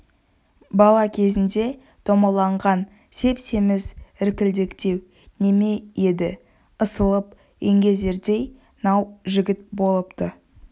бала кезінде домаланған сеп-семіз іркілдектеу неме еді ысылып еңгезердей нау жігіт болыпты